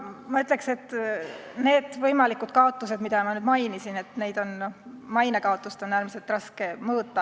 Ma ütleks, et neid võimalikke kaotusi, mida ma mainisin, näiteks maine kaotust, on äärmiselt raske mõõta.